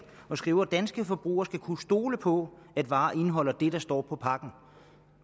og skriver danske forbrugere skal kunne stole på at varer indeholder det der står på pakken